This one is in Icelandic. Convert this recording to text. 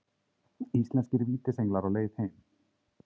Íslenskir vítisenglar á leið heim